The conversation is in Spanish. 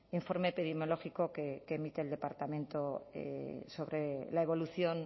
informe epidemiológico que emite el departamento sobre la evolución